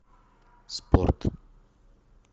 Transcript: спорт